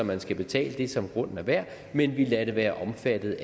man skal betale det som grunden er værd men vi lader det være omfattet